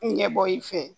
Ɲɛbɔ i fɛ